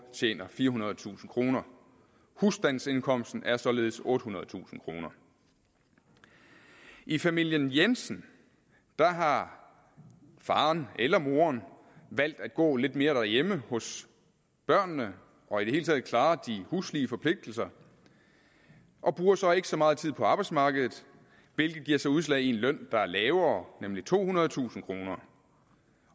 tjener firehundredetusind kroner husstandsindkomsten er således ottehundredetusind kroner i familien jensen har faren eller moren valgt at gå lidt mere derhjemme hos børnene og i det hele taget klare huslige forpligtelser og bruger så ikke så meget tid på arbejdsmarkedet hvilket giver sig udslag i en løn der er lavere nemlig tohundredetusind kroner